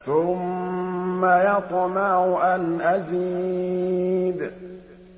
ثُمَّ يَطْمَعُ أَنْ أَزِيدَ